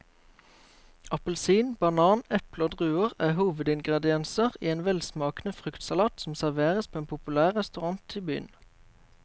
Appelsin, banan, eple og druer er hovedingredienser i en velsmakende fruktsalat som serveres på en populær restaurant i byen.